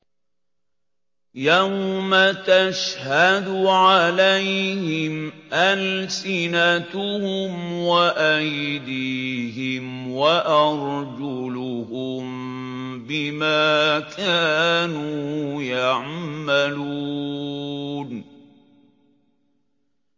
يَوْمَ تَشْهَدُ عَلَيْهِمْ أَلْسِنَتُهُمْ وَأَيْدِيهِمْ وَأَرْجُلُهُم بِمَا كَانُوا يَعْمَلُونَ